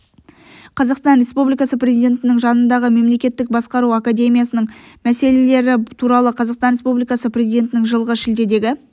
қазақстан республикасы президентінің жанындағы мемлекеттік басқару академиясының мәселелері туралы қазақстан республикасы президентінің жылғы шілдедегі